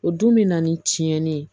O dun mɛna ni tiɲɛni ye